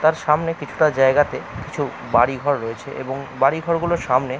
তার সামনে কিছুটা জায়গাতে কিছু বাড়িঘর রয়েছে এবং বাড়িঘরগুলোর সামনে --